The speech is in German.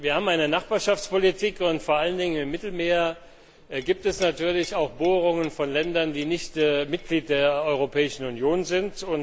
Wir haben eine Nachbarschaftspolitik, und vor allen Dingen im Mittelmeer gibt es natürlich auch Bohrungen von Ländern, die nicht Mitglied der Europäischen Union sind.